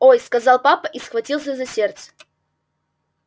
ой сказал папа и схватился за сердце